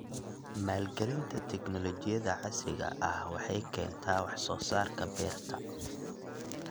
Maalgelinta tignoolajiyada casriga ah waxay keentaa wax soo saarka beerta.